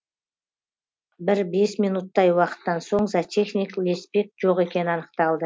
бір бес минуттай уақыттан соң зоотехник леспек жоқ екені анықталды